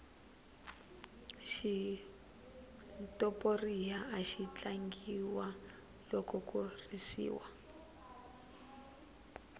xitoporiya axi tlangiwa loko ku risiwa